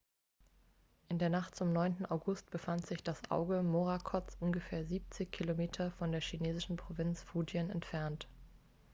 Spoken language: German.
in der nacht zum 9. august befand sich das auge morakots ungefähr siebzig kilometer von der chinesischen provinz fujian entfernt